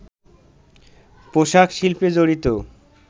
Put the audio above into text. পোশাক শিল্পে জড়িত